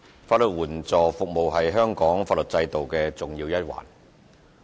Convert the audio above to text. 法律援助服務是香港法律制度的重要一環。